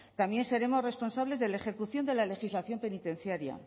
también seremos responsables de la ejecución de la legislación penitenciaria